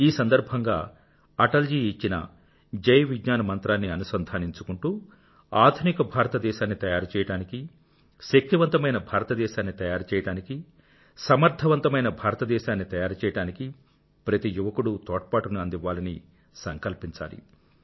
ఈ సందర్భంగా అటల్ జీ ఇచ్చిన జై విజ్ఞాన్ మంత్రాన్ని అనుసంధానించుకుంటూ ఆధునిక భారతదేశాన్ని తయారుచేయడానికి శక్తివంతమైన భారతదేశాన్ని తయారు చేయాడానికి సమర్థవంతమైన భారతదేశాన్ని తయారుచేయడానికి ప్రతి యువకుడూ తోడ్పాటుని అందివ్వాలని సంకల్పించాలి